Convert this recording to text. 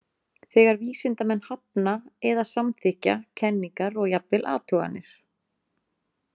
Þegar vísindamenn hafna eða samþykkja kenningar og jafnvel athuganir.